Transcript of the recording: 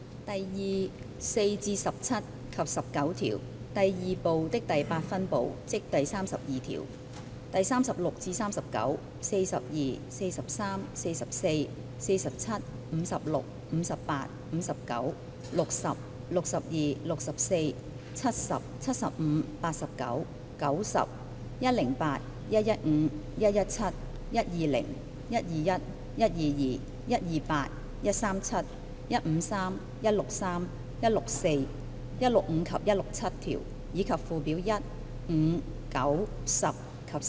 第2、4至17及19條、第2部的第8分部、第36至39、42、43、44、47、56、58、59、60、62、64、70、75、89、90、108、115、117、120、121、122、128、137、153、163、164、165及167條，以及附表1、5、9、10及11。